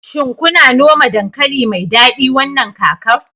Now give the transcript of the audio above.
shin kuna noma dankali mai dadi wannan kakar